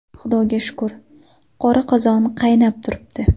Xudoga shukr, qora qozon qaynab turibdi.